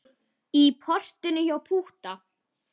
Í portinu hjá Pútta.